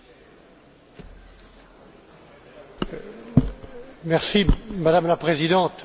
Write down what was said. Madame la Présidente, je voudrais, en quelques mots, d'abord remercier M.